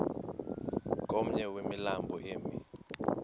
komnye wemilambo emi